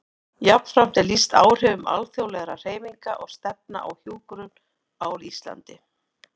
Jafnframt er lýst áhrifum alþjóðlegra hreyfinga og stefna á hjúkrun á Íslandi.